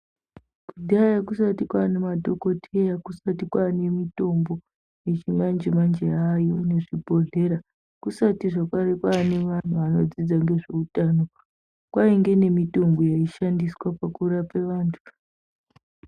Kudhaya kusati kwane madhokodheya kusati kwane mitombo yechimanje manje yaayo nezvibhodhlera kusatizvr kwane vantu vanodzidza nezveutano kwainge nemitombo inoshandiswa pakurapa vantu.